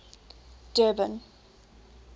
durban